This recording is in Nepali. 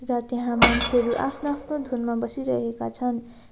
र त्यहाँ मान्छेहरु आफ्नो आफ्नो धुनमा बसिरहेका छन्।